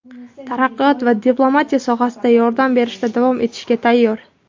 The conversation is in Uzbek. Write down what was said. taraqqiyot va diplomatiya sohasida yordam berishda davom etishga tayyor.